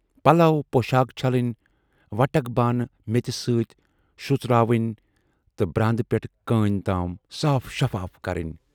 پَلو پۅشاکھ چھلٕنۍ، وَٹک بانہٕ میژِ سۭتۍ شروٗژراوٕنۍ تہٕ براندٕ پٮ۪ٹھٕ کٲنی تام صاف شفاف کَرٕنۍ۔